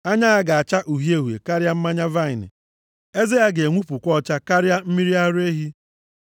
Anya ya ga-acha uhie uhie karịa mmanya vaịnị. Eze ya ga-enwupụkwa ọcha karịa mmiri ara ehi.